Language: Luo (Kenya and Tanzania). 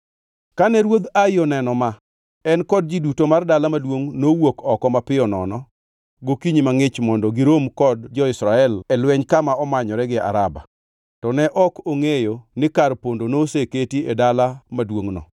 Kane ruodh Ai oneno ma, en kod ji duto mar dala maduongʼ nowuok oko mapiyo nono gokinyi mangʼich mondo girom kod jo-Israel e lweny kama omanyore gi Araba. To ne ok ongʼeyo ni kar pondo noseketi e ngʼe dala maduongʼno.